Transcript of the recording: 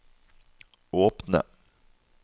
åpne